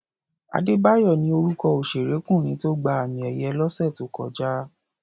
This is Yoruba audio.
Adébáyọ̀ ni orúkọ òṣèrékùnrin tó gba àmì-ẹ̀yẹ lọ́sẹ̀ tó kọjá.